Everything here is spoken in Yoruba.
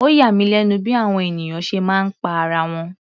Ó yà mí lẹ́nu bí àwọn ènìyàn ṣe máa ń pa ara wọn.